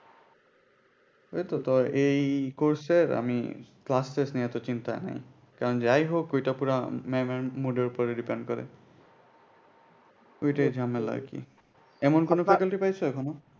ওইতো এই course এর আমি class test নিয়ে অত চিন্তা নাই কারণ যাই হোক ওইটা পুরা ম্যাম এর mood এর ওপর depend করে। ওইটাই ঝামেলা আর কি এমন কোন faculty পাইছো এখনো?